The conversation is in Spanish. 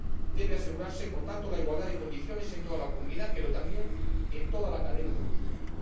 Debe asegurarse, por tanto, la igualdad de condiciones en toda la Comunidad pero también en toda la cadena de custodia.